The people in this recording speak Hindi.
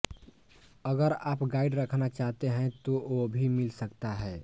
अगर आप गाइड रखना चाहते हैं तो वह भी मिल सकता है